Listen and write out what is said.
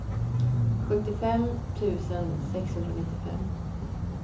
sjuttiofem tusen sexhundranittiofem